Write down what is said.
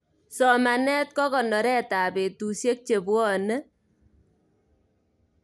somanet kokonoret ap betusiek chepwoni